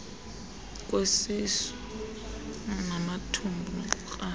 kwesisu namathumbu nokukrala